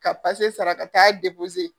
Ka sara ka taa